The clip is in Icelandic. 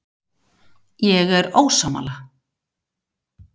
Ég er ósammála.